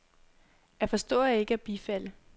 At forstå er ikke at bifalde.